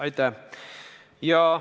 Aitäh!